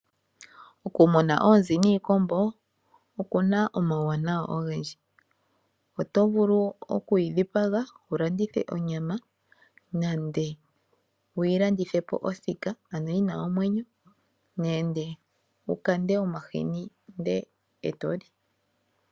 Okumuna oonzi niikombo oku na omauwanawa ogendji, oto vulu okuyi dhipaga wu landithe onyama nande wuyi landithe po yi na omwenyo, nande wu lande omahini e to li.